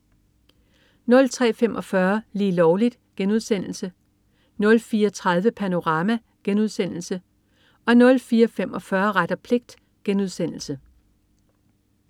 03.45 Lige Lovligt* 04.30 Panorama* 04.45 Ret og pligt*